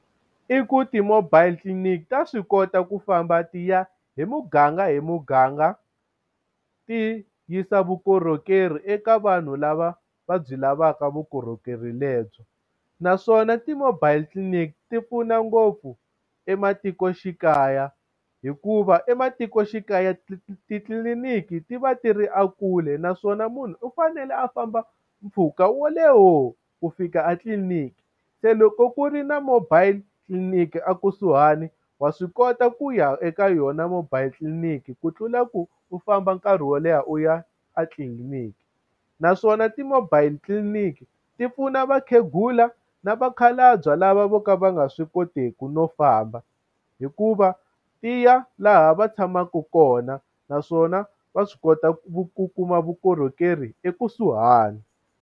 I ku ti-mobile clinic ta swi kota ku famba ti ya hi muganga hi muganga ti yisa vukorhokeri eka vanhu lava va byi lavaka vukorhokeri lebyi. Naswona ti-mobile clinic ti pfuna ngopfu ematikoxikaya hikuva ematikoxikaya titliliniki ti va ti ri ekule. Naswona munhu u fanele a famba mpfhuka wo leha ku fika a tliliniki, se loko ku ri na mobile tliliniki a kusuhani wa swi kota ku ya eka yona mobile tliliniki ku tlula ku u famba nkarhi wo leha u ya a tliliniki. Naswona ti-mobile tliliniki ti pfuna vakhegula na vakhalabye lava vo ka va nga swi kotiki no famba hikuva ti ya laha va tshamaka kona, naswona va swi kota ku ku kuma vukorhokeri ekusuhani.